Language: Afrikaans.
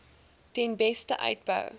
ten beste uitbou